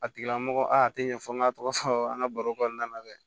A tigila mɔgɔ aa a tɛ ɲɛfɔ n ka tɔgɔ sɔrɔ an ka baro kɔnɔna na dɛ